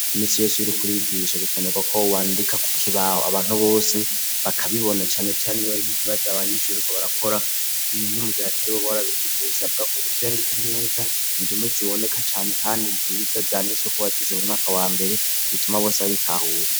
Iminsi yose Iyo uriko urigisha birakenerwako wandika kukibaho abantu bose bakabibona cane cane n'ikibazo abanyeshure bariko barakora ni nko mugihe utari warabigishije bisabwako uvyandika neza indimi ziboneka cane kandi nziza zandisweko wazize mu mwaka wa mbere bituma bose bayitahura.